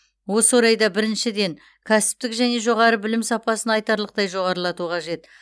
осы орайда біріншіден кәсіптік және жоғары білім сапасын айтарлықтай жоғарылату қажет